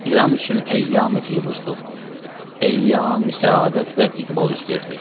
İran üçün əyyami-firuxtuq, əyyami-səadət və iqbal üz verdi.